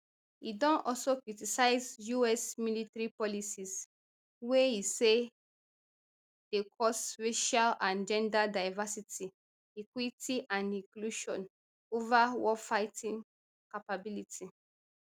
e don also criticise us military policies wey e say dey cause racial and gender diversity equity and inclusion ova warfighting capability